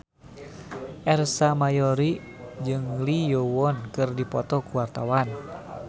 Ersa Mayori jeung Lee Yo Won keur dipoto ku wartawan